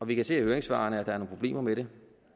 vi kan se af høringssvarene at der er nogle problemer med det